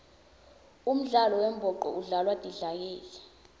umdlalo wembhoco udlalwa tidlakela